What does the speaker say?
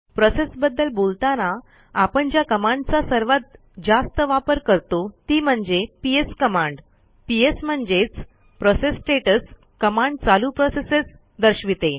process बद्दल बोलताना आपण ज्या कमांडचा सर्वात जास्त वापर करतो ती म्हणजे psकमांड पीएस म्हणजेच प्रोसेस स्टेटस कमांड चालू प्रोसेसेस दर्शविते